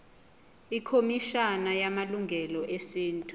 ikhomishana yamalungelo esintu